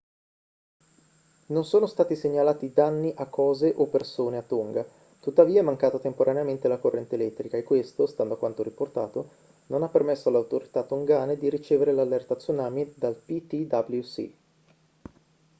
non sono stati segnalati danni a cose o persone a tonga tuttavia è mancata temporaneamente la corrente elettrica e questo stando a quanto riportato non ha permesso alle autorità tongane di ricevere l'allerta tsunami dal ptwc